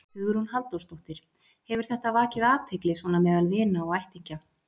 Hugrún Halldórsdóttir: Hefur þetta vakið athygli svona meðal vina og ættingja?